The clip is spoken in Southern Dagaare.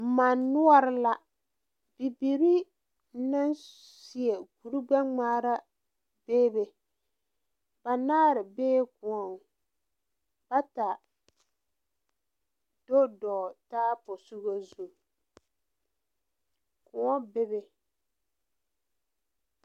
Manni noɔre la bibiiri naŋ seɛ kurigbɛŋmaara bebe banaare bee koɔŋ bata dodogle taa posoga zu Koɔ bebe.